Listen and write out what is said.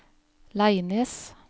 Leines